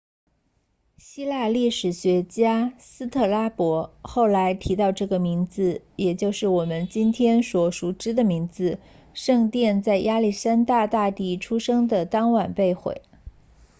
希腊历史学家斯特拉博 strabo 后来提到了这个名字也就是我们今天所熟知的名字圣殿在亚历山大大帝出生的当晚被毁